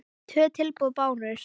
Tvö tilboð bárust.